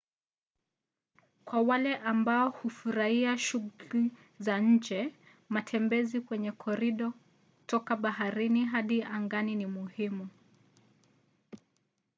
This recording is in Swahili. kwa wale ambao hufurahia shughuli za nje matembezi kwenye korido toka baharini hadi angani ni muhimu